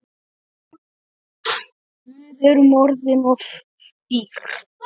Við erum orðin of dýr.